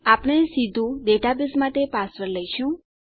આપણે સીધું ડેટાબેઝ માટે પાસવર્ડ લઇશું